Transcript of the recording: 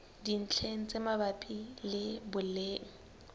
dintlheng tse mabapi le boleng